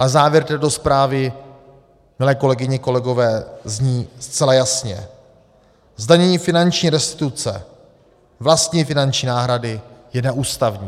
Ale závěr této zprávy, milé kolegyně, kolegové, zní zcela jasně: Zdanění finanční restituce, vlastní finanční náhrady, je neústavní.